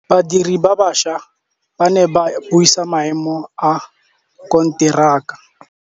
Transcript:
Badiri ba baša ba ne ba buisa maêmô a konteraka.